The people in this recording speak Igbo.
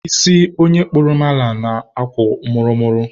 isi onye kpụrụ mala na-akwọ mụrụ mụrụ.